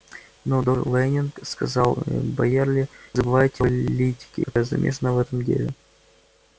но доктор лэннинг сказал байерли вы забываете о политике которая замешана в этом деле